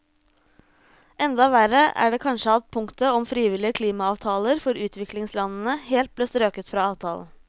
Enda verre er det kanskje at punktet om frivillige klimaavtaler for utviklingslandene helt ble strøket fra avtalen.